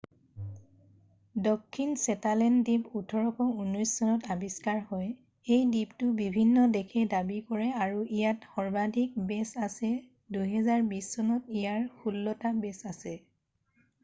দক্ষিণ শ্বেটালেণ্ড দ্বীপ 1819 চনত আৱিষ্কাৰ হয় এই দ্বীপটো বিভিন্ন দেশে দাবী কৰে আৰু ইয়াত সৰ্বাধিক বে'ছ আছে 2020 চনত ইয়াত ষোল্লটা বে'ছ আছে